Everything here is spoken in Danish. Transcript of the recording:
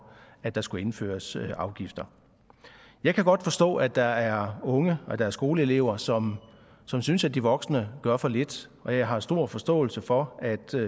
at der skal indføres afgifter jeg kan godt forstå at der er unge at der er skoleelever som som synes at de voksne gør for lidt og jeg har stor forståelse for